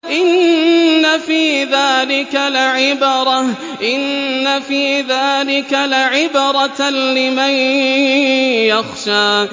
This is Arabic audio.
إِنَّ فِي ذَٰلِكَ لَعِبْرَةً لِّمَن يَخْشَىٰ